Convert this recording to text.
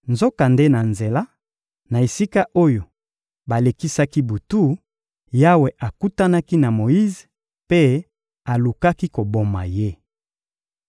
Nzokande na nzela, na esika oyo balekisaki butu, Yawe akutanaki na Moyize mpe alukaki koboma ye.